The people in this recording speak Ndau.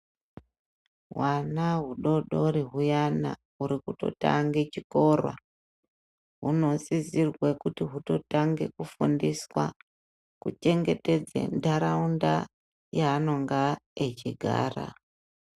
Hwana hudodori huyana huri kutotange chikora, hunosisirwe kuti hutotange kufundiswa kuchengetedze ndaraunda yaanenge achigara.